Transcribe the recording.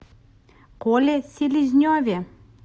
коле селезневе